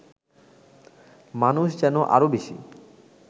মানুষ যেন আরও বেশি